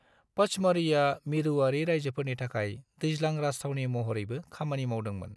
पचमढ़ीआ मिरुआरि रायजोफोरनि थाखाय दैज्लां राजथावनि महरैबो खामानि मावदोंमोन।